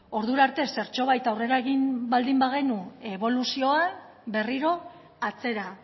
ordura arte zertxobait aurrera egin baldin bagenu eboluzioan berriro atzera